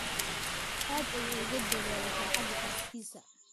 Aad ayuu ugu dadaalay farxadda xaaskiisa.